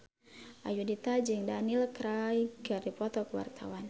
Ayudhita jeung Daniel Craig keur dipoto ku wartawan